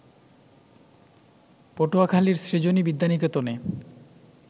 পটুয়াখালীর সৃজনী বিদ্যানিকেতনে